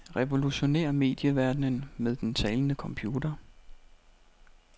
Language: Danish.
Revolutionér medieverdenen med den talende computer.